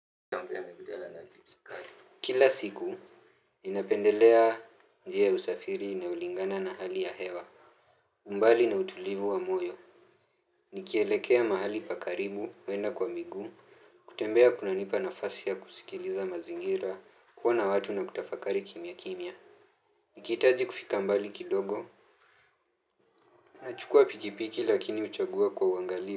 Chambia na gudala na kilisaka. Kila siku ninapendelea njia ya usafiri na ulingana na hali ya hewa mbali na utulivu wa moyo nikielekea mahali pakaribu uenda kwa miguu. Kutembea kunanipa nafasi ya kusikiliza mazingira, kuona watu na kutafakari kimya kimya. Nikihitaji kufika mbali kidogo, nachukua pikipiki lakini huchagua kwa uangalifu.